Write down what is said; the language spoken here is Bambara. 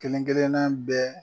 Kelenkelenna bɛɛ